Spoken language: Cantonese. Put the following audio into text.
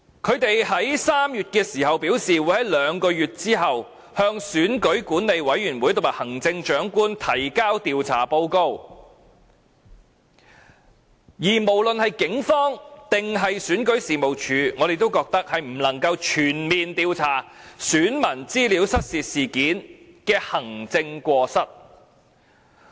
他們3月時表示，會在兩個月後向選舉管理委員會和行政長官提交調查報告，而無論是警方還是選舉事務處，我們都認為是不能夠全面調查選民資料失竊事件的行政過失。